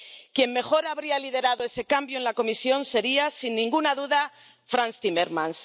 Quien mejor habría liderado ese cambio en la Comisión sería, sin ninguna duda, Frans Timmermans.